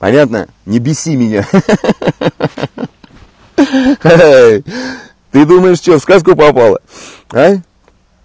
понятно не беси меня ха-ха ты думаешь что в сказку попала а